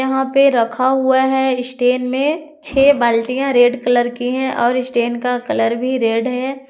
यहां पे रखा हुआ है स्टैंड में छे बाल्टिया रेड कलर की है और स्टैंड का कलर भी रेड है।